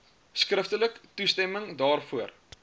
skriftelik toestemming daarvoor